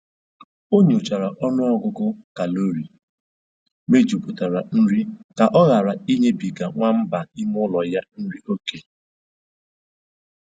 O nyochara ọnụ ọgụgụ kalori mejupụtara nri ka ọ hara ịnyebiga nwamba ime ụlọ ya nri oké